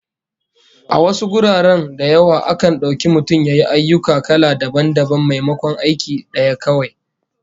A wasu guraren da yawa, akan dauki mutum ya yi ayyuka kala dabam dabam maimakon aiki daya kawai